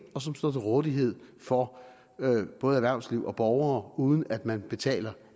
og som står til rådighed for både erhvervsliv og borgere uden at man betaler